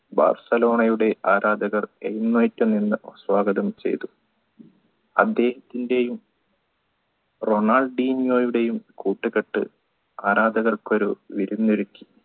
ബാഴ്സലോണയുടെ ആരാധകർ എഴുന്നേറ്റുനിന്ന് സ്വാഗതം ചെയ്തു അദ്ദേഹത്തിൻറെയും റൊണാൾഡീഞ്ഞോയുടെയും കൂട്ടുകെട്ട് ആരാധകർക്ക് ഒരു വിരുന്നു